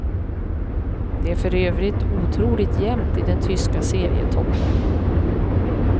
Det är för övrigt otroligt jämnt i den tyska serietoppen.